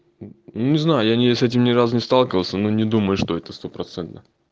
не знаю я не с этим ни разу не сталкивался но не думаю что это стопроцентно